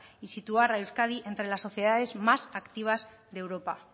y situar a euskadi entre las sociedades más activas de europa